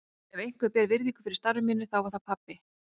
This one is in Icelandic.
Ef einhver bar virðingu fyrir starfi mínu þá var það pabbi.